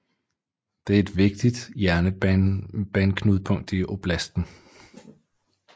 Den er et vigtigt jernbaneknudepunkt i oblasten